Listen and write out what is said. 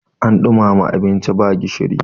an dumama abinci ba gishiri